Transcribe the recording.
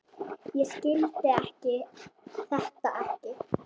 Ég skildi þetta ekki.